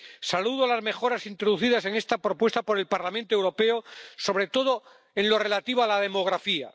Saludo las mejoras introducidas en esta propuesta por el Parlamento Europeo, sobre todo en lo relativo a la demografía.